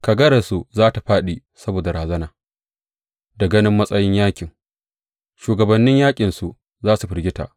Kagararsu za tă fāɗi saboda razana; da ganin matsayin yaƙin, shugabannin yaƙinsu za su firgita,